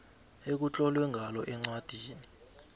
ekutlolwe ngalo incwadi